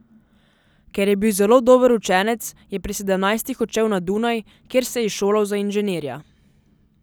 Ker je bil zelo dober učenec, je pri sedemnajstih odšel na Dunaj, kjer se je izšolal za inženirja.